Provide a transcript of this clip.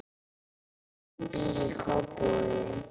Bogi býr í Kópavogi.